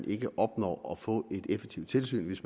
ikke at opnå at få et effektivt tilsyn hvis